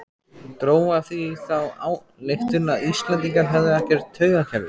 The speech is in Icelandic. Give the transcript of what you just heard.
Dró af því þá ályktun að Íslendingar hefðu ekkert taugakerfi.